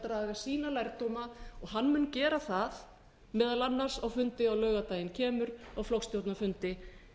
sína lærdóma og hann mun gera það meðal annars á fundi á laugardaginn kemur á flokksstjórnarfundi